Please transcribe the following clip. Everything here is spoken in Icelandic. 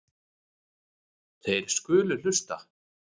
Þeir skulu hlusta.